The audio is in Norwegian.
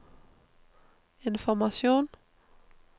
informasjon